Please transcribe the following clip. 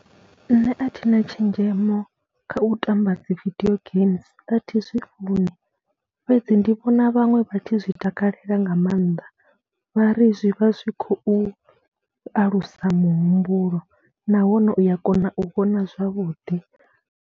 Nṋe a thi na tshenzhemo kha u tamba dzi vidio games, a thi zwi funi fhedzi ndi vhona vhaṅwe vha tshi zwi takalela nga maanḓa, vha ri zwi vha zwi khou alusa muhumbulo nahone u ya kona u vhona zwavhuḓi.